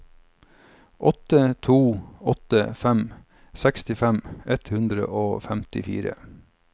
åtte to åtte fem sekstifem ett hundre og femtifire